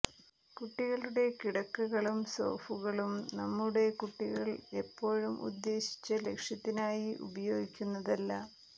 കുട്ടികളുടെ കിടക്കകളും സോഫുകളും നമ്മുടെ കുട്ടികൾ എപ്പോഴും ഉദ്ദേശിച്ച ലക്ഷ്യത്തിനായി ഉപയോഗിക്കുന്നതല്ല